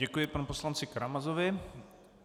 Děkuji panu poslanci Karamazovi.